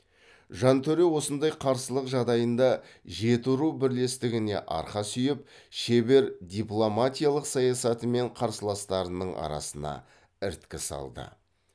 жантөре осындай қарсылық жағдайында жетіру бірлестігіне арқа сүйеп шебер дипломатиялық саясатымен қарсыластарының арасына іріткі салды